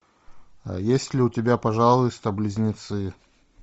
есть ли у тебя пожалуйста близнецы